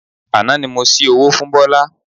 Àná ni mo ṣi owó fún Bọ́lá